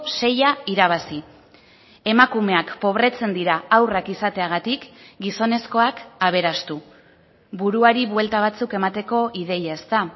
seia irabazi emakumeak pobretzen dira haurrak izateagatik gizonezkoak aberastu buruari buelta batzuk emateko ideia ezta